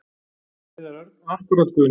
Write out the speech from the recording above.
Heiðar Örn: Akkúrat Guðni.